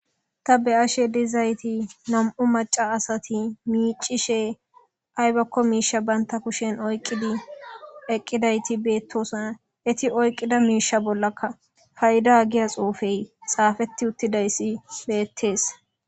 Ta be'ashe dizayis na'mu maca asati micishe ayibako mishe banita oyiqidi eqidayis betosona eti oyiqida misheya bolla payida giya xupey xapeti utidays betes